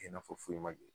Kɛ i n'a fɔ foyi ma kɛ